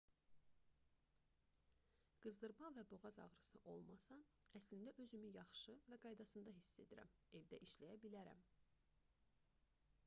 qızdırma və boğaz ağrısı olmasa əslində özümü yaxşı və qaydasında hiss edirəm evdə işləyə bilərəm